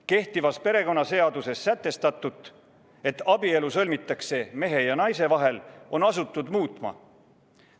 Kehtivas perekonnaseaduses sätestatut, et abielu sõlmitakse mehe ja naise vahel, on asutud muutma.